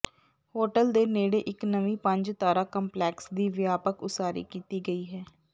hotel ਦੇ ਨੇੜੇ ਇਕ ਨਵੀਂ ਪੰਜ ਤਾਰਾ ਕੰਪਲੈਕਸ ਦੀ ਵਿਆਪਕ ਉਸਾਰੀ ਕੀਤੀ ਗਈ ਹੈ